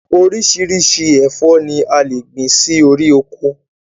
Orísirísi ẹ̀fọ́ ni a lè gbìn sí orí ọkọ